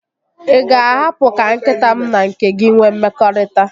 Ị ga-ahapụ ka nkịta m na nke gị nwee mmekọrịta?